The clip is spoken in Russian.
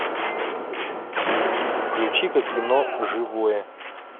включи ка кино живое